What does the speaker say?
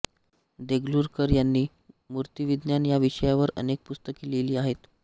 देगलूरकर यांनी मूर्तिविज्ञान या विषयावर अनेक पुस्तके लिहिली आहेत